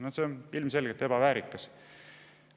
No see on ilmselgelt ebaväärikas!